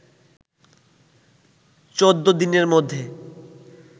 ১৪ দিনের মধ্যে